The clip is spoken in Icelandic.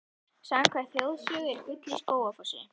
Samkvæmt þjóðsögu er gull í Skógafossi.